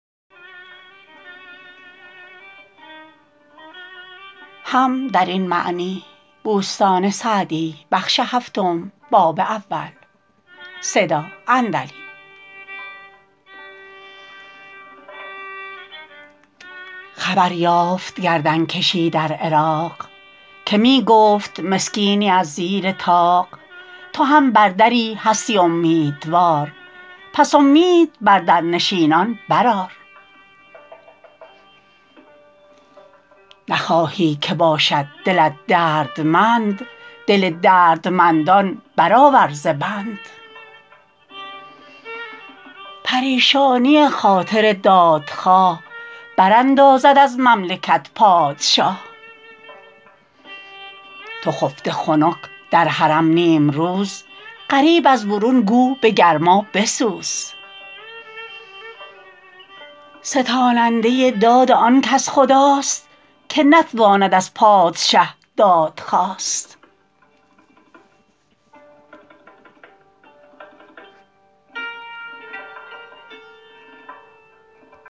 خبر یافت گردن کشی در عراق که می گفت مسکینی از زیر طاق تو هم بر دری هستی امیدوار پس امید بر در نشینان برآر نخواهی که باشد دلت دردمند دل دردمندان برآور ز بند پریشانی خاطر دادخواه براندازد از مملکت پادشاه تو خفته خنک در حرم نیمروز غریب از برون گو به گرما بسوز ستاننده داد آن کس خداست که نتواند از پادشه دادخواست